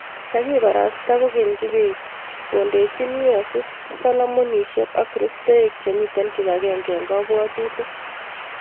Kakibarasta kokeny' kibet kondeni yueeiseet salaamuinsiek ak kristoeek chemiitei kibaagenge eng' kabwatuutik